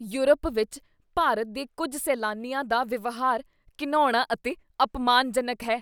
Europe ਵਿੱਚ ਭਾਰਤ ਦੇ ਕੁੱਝ ਸੈਲਾਨੀਆਂ ਦਾ ਵਿਵਹਾਰ ਘਿਣਾਉਣਾ ਅਤੇ ਅਪਮਾਨਜਨਕ ਹੈ।